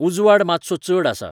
उजवाड मात्सो चड आसा